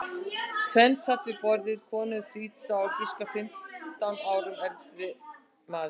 Tvennt sat við borðið, kona um þrítugt og á að giska fimmtán árum eldri maður.